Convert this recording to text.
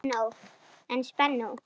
En spennó!